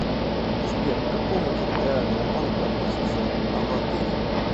сбер к какому территориальному банку относится анадырь